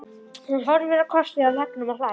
Hún horfir á krotið á veggnum og hlær.